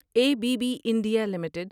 a B B India limited